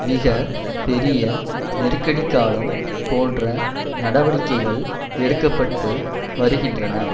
மிக பெரிய நெருக்கடிக்காலம் போன்ற நடவடிக்கைகள் எடுக்க பட்டு வருகின்றன